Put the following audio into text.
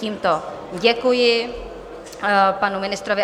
Tímto děkuji panu ministrovi.